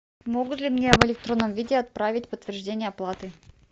могут ли мне в электронном виде отправить подтверждение оплаты